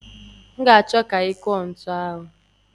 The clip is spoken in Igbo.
M ga-achọ ka ị kụọ ntu ahụ.